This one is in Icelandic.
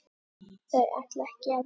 Þau ætla ekki að vekja